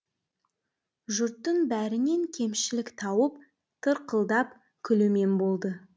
жұрттың бәрінен кемшілік тауып тырқылдап күлумен болды